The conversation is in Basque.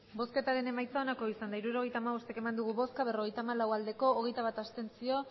hirurogeita hamabost eman dugu bozka berrogeita hamalau bai hogeita bat abstentzio